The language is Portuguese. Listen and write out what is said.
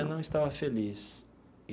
Eu não estava feliz.